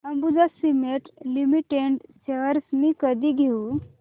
Ambuja cement limited shares मी कधी घेऊ